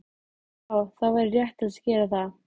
Já það væri réttast að gera það.